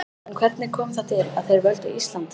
En hvernig kom það til að þeir völdu Ísland?